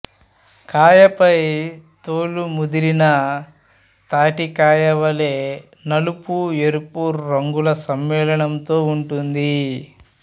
కాయ పై తోలు ముదిరిన తాటి కాయ వలే నలుపుఎరుపు రంగుల సమ్మేళంతో ఉంటుంది